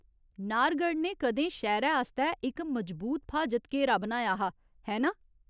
नाहरगढ़ ने कदें शैह्‌रै आस्तै इक मजबूत फ्हाजत घेरा बनाया हा, है ना?